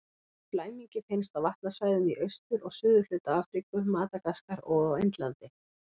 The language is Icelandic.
Litli flæmingi finnst á vatnasvæðum í austur- og suðurhluta Afríku, Madagaskar og á Indlandi.